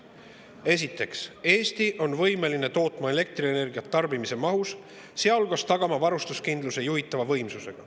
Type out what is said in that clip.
Esiteks, Eesti on võimeline tootma elektrienergiat tarbimise mahus, sealhulgas tagama varustuskindluse juhitava võimsusega.